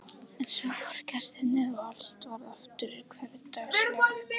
En svo fóru gestirnir og allt varð aftur hversdagslegt.